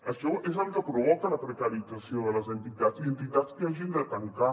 això és el que provoca la precarització de les entitats i entitats que hagin de tancar